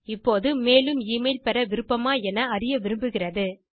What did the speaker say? இப்போது மேலும் எமெயில் பெற விருப்பமா என அறிய விரும்புகிறது